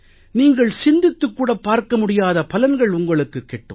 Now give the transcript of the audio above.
நீங்கள் சிந்தித்துக் கூட பார்க்க முடியாத பலன்கள் உங்களுக்குக் கிட்டும்